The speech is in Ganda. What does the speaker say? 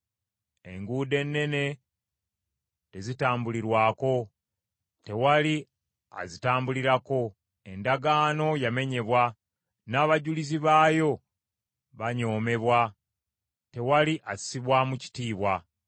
Enguudo ennene tezitambulirwako, tewali azitambulirako. Endagaano yamenyebwa, n’abajulizi baayo banyoomebwa, tewali assibwamu kitiibwa.